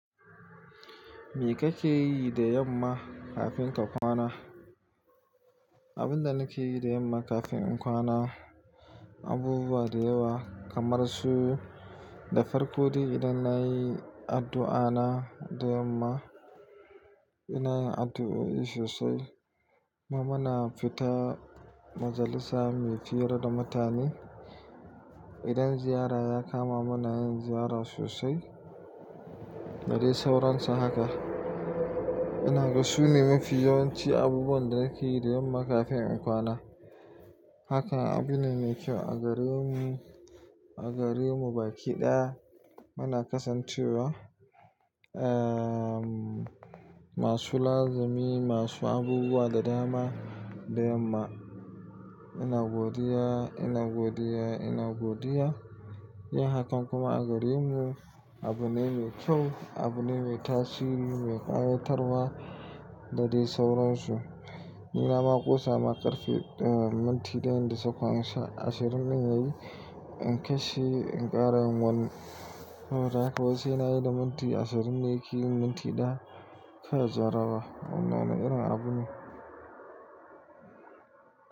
Me kake yi da yamma kafin ka kwana? Abin da nake yi da yamma kafin in kwana abubuwa da yawa kamar su da farko dai idan na yi addu'ana da yamma, ina yin addu'oi sosai. Kuma muna fita majalisa mai fiyar da mutane. Idan ziyara ya kama mu, muna yin ziyara sosai. Da dai sauransa haka. Ina ga su ne mafi yawanci abubuwan da nake yi da yamma kafin in kwana. Haka abune mai kyau a garinmu, a garinmu bakiɗaya. Muna kasancewa, ehm, masu lazimi, masu abubuwa da dama da yamma. Ina godiya, ina godiya, ina godiya. Yi hakan kuma a garinmu abune mai kyau, abune mai tasiri, mai ƙayatarwa da dai sauransu. Ni nama ƙosa ma karfe, daya, minti dayan da sauƙan ashirin din yayi. In kashe garin wani, soboda aka wai na yi da minti ashirin ne, ya ke yin minti daya, kai jaraba. Wannan wani irin abune.